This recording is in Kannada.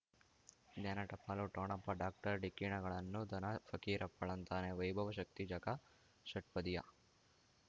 ಜ್ಞಾನ ಟಪಾಲು ಠೊಣಪ ಡಾಕ್ಟರ್ ಢಿಕ್ಕಿ ಣಗಳನು ಧನ ಫಕೀರಪ್ಪ ಳಂತಾನೆ ವೈಭವ್ ಶಕ್ತಿ ಝಗಾ ಷಟ್ಪದಿಯ